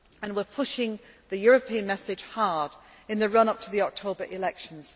We are pushing the European message hard in the run up to the October elections.